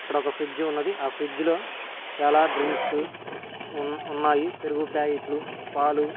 ఆడొక ఒక ఫ్రిడ్జ్ ఉన్నది ఆ ఫ్రిడ్జ్ లో చాలా డ్రింక్సు ఉన్న్ ఉన్నాయి పెరుగు ప్యాకెట్లు పాలు--